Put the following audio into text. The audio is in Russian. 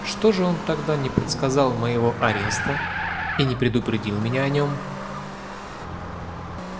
что же он тогда не предсказал моего ареста и не предупредил меня о нём